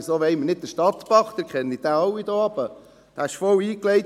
«Weshalb wollen wir nicht den Stadtbach einmal ein bisschen renaturieren?».